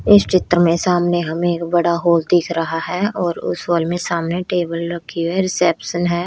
इस चित्र में सामने हमें एक बड़ा हॉल दिख रहा है और उस हॉल में सामने टेबल रखी है रिसेप्शन है।